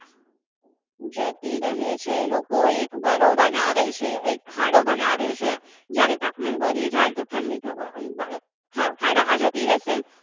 જતી રહે છે. લોકો એક ઘરો બનાવે છે. ખાડો બનાવે છે. જ્યારે તાપમાન વધી જાય તો ઠંડી થવા અંદર ખાડામાં જતી રહેશે.